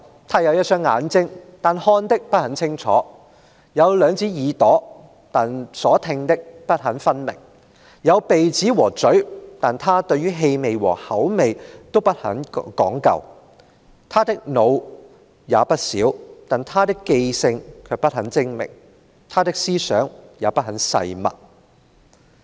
他有一雙眼睛，但看的不很清楚；有兩隻耳朵，但聽的不很分明；有鼻子和嘴，但他對於氣味和口味都不很講究；他的腦子也不小，但他的記性卻不很精明，他的思想也不很細密。